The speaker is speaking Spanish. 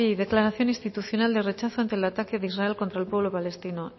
declaración institucional de rechazo ante el ataque de israel contra el pueblo palestino